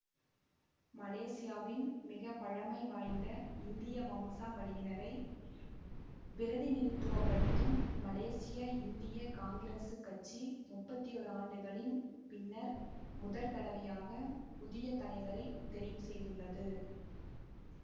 மலேசியாவின் மிக பழைமைவாய்ந்த இந்திய வம்சாவளியினரைப் பிரதிநிதித்துவ படுத்தும் மலேசிய இந்திய காங்கிரசு கட்சி முப்பத்தி ஓர் ஆண்டுகளின் பின்னர் முதற்தடவையாக புதிய தலைவரைத் தெரிவு செய்துள்ளது